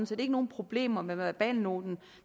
set ikke nogen problemer med verbalnoten